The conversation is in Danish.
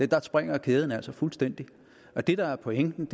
der springer kæden altså fuldstændig af det der var pointen